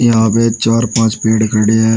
यहां पे चार पांच पेड़ खड़े है।